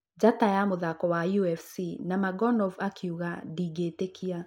Njata ya mũthako wa UFC Nurmagomedov akiuga; ndingĩtĩkia